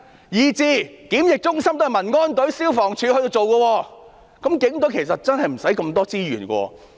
連檢疫中心也是民安隊和消防處負責。那麼，警隊真的無需這麼多資源。